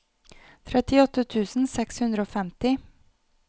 trettiåtte tusen seks hundre og femti